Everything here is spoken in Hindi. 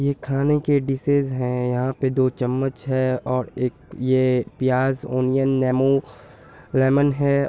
ये खाने के डिशेज हैं यहाँ पे दो चम्मच है और एक ये प्याज़ ओनियन नेमो लेमन है।